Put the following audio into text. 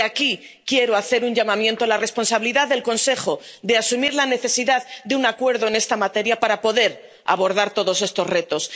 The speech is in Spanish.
Y aquí quiero hacer un llamamiento a la responsabilidad del Consejo de asumir la necesidad de un acuerdo en esta materia para poder abordar todos estos retos